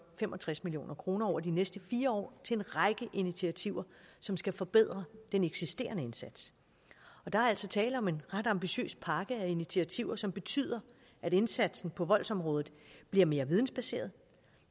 fem og tres million kroner over de næste fire år til en række initiativer som skal forbedre den eksisterende indsats der er altså tale om en ret ambitiøs pakke af initiativer som betyder at indsatsen på voldsområdet bliver mere vidensbaseret